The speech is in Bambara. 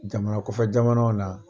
Jamana kɔfɛ jamanaw na